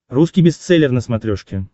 русский бестселлер на смотрешке